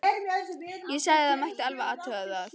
Ég sagði að það mætti alveg athuga það.